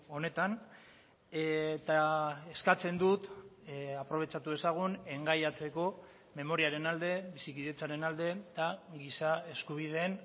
honetan eta eskatzen dut aprobetxatu dezagun engaiatzeko memoriaren alde bizikidetzaren alde eta giza eskubideen